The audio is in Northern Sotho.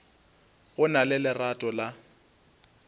go na le lerato la